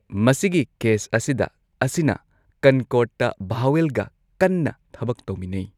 ꯃꯁꯤꯒꯤ ꯀꯦꯁ ꯑꯁꯤꯗ ꯑꯁꯤꯅ ꯀꯟꯀꯣꯔꯗꯇ ꯚꯥꯋꯦꯜꯒ ꯀꯟꯅ ꯊꯕꯛ ꯇꯧꯃꯤꯟꯅꯩ꯫